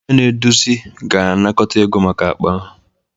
Onye na-eduzi ga-anakọta ego maka akpa ahụ